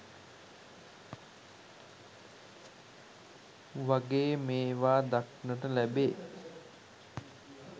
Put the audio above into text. වගේ මේවා දක්නට ලැබේ.